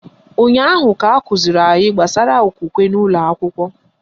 Ụnyaahụ ka akụziri anyị gbasara okwukwe n'ụlọakwụkwọ